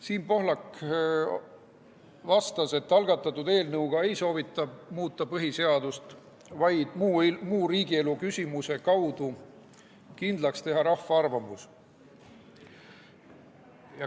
Siim Pohlak vastas, et algatatud eelnõuga ei soovita muuta põhiseadust, vaid muu riigielu küsimuse kaudu kindlaks teha rahva arvamus.